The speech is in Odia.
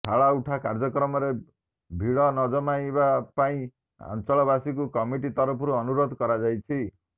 ଥାଳ ଉଠା କାର୍ଯ୍ୟକ୍ରମରେ ଭିଡ ନ ଜମାଇବା ପାଇଁ ଅଞ୍ଚଳବାସୀଙ୍କୁ କମିଟି ତରଫରୁ ଅନୁରୋଧ କରାଯାଇଛି